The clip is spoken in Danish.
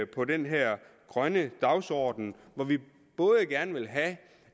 på den her grønne dagsorden hvor vi både gerne vil have